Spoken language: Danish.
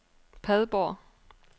Padborg